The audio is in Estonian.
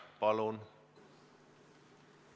Palun!